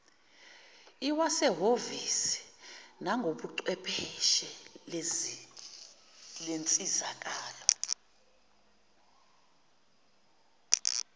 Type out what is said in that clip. lwasehhovisi nangobuchwepheshe lensizakalo